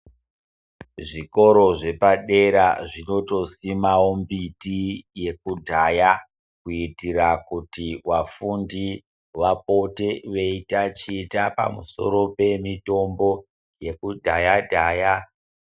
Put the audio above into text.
Ezvikora zvepadera zvinotosimawo mbiti yekudhaya kuitire kuti vafundi vapote veitaticha pamusoro pemitombo yekudhaya dhaya.